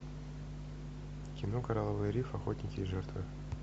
кино коралловый риф охотники и жертвы